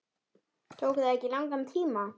Tók það ekki langan tíma?